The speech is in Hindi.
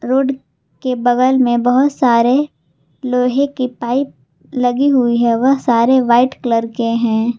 रोड के बगल में बहुत सारे लोहे की पाइप लगी हुई है वह सारे व्हाइट कलर के हैं।